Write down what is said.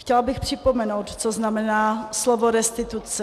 Chtěla bych připomenout, co znamená slovo restituce.